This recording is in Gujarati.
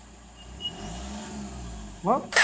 ઉહ